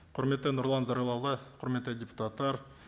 құрметті нұрлан зайроллаұлы құрметті депутаттар